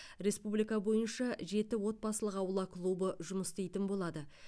республика бойынша жеті отбасылық аула клубы жұмыс істейтін болады